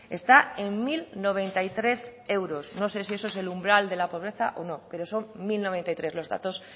está en mil noventa y tres euros no sé si eso es el umbral de la pobreza o no pero son mil noventa y tres los datos